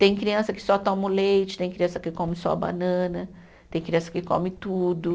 Tem criança que só toma o leite, tem criança que come só a banana, tem criança que come tudo.